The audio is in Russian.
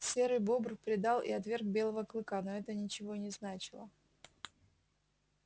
серый бобр предал и отверг белого клыка но это ничего не значило